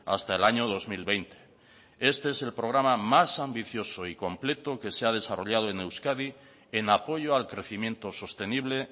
hasta el año dos mil veinte este es el programa más ambicioso y completo que se ha desarrollado en euskadi en apoyo al crecimiento sostenible